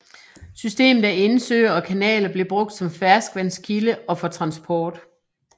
Systemet af indsøer og kanaler blev brugt som ferskvandskilde og for transport